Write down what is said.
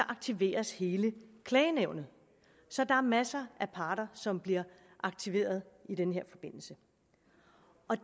aktiveres hele klagenævnet så der er masser af parter som bliver aktiveret i den her forbindelse